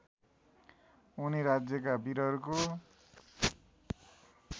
उनी राज्यका वीरहरूको